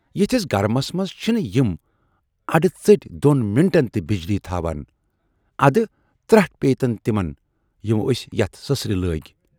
یِتھِس گرمس منز چھِنہٕ یِم اَڈٕژٔٹۍ دۅن منٹن تہِ بجلی تھاوان، اَدٕ ترٹھ پییہِ تن تِمن یِمو ٲسۍ یَتھ سٕسرِ لٲگۍ